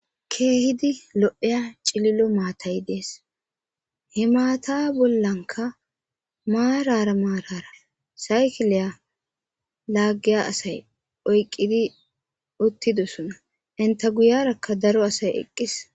Keehidi lo'iya cililo maatay dees he maata bollanka maarara maarara saykiliya laagiya asay oyqidi uttidosona enta guyyerakka daro asaykka eqqis.